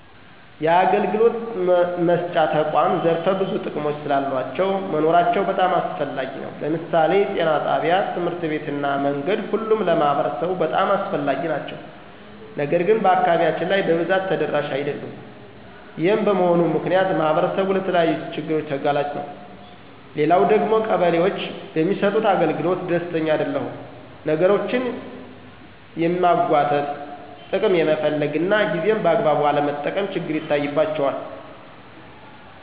የአገልግሎት መስጫ ተቁዓም ዘርፈ ብዙ ጥቅሞች ስላሉአቸው መኖራቸው በጣም አስፈላጊ ነው። ለምሳሌ ጤና ጣቢያ፣ ትምህርት ቤት እና መንገድ ሁሉም ለማህበረሰቡ በጣም አስፈላጊ ናቸው። ነገር ግን በአካባቢያችን ላይ በብዛት ተደራሽ አደሉም። ይሄም በመሆኑ ምክንያት ማህበረሰቡ ለተለያዩ ችግሮች ተጋላጭ ነው። ሌላው ደግሞ ቀበሌዎች በሚሰጡት አገልግሎት ደስተኛ አደለሁም። ነገሮችን የማንጉአተት፣ ጥቅም የመፈለግ እና ጊዜን በአግባቡ አለመጠቀም ችግር ይታይባቸዋል።